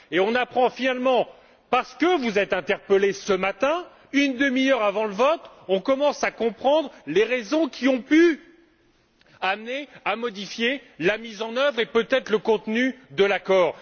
Et, parce que vous êtes interpellés ce matin, une demi heure avant le vote, on commence à comprendre les raisons qui ont pu amener à modifier la mise en œuvre et peut être le contenu de l'accord.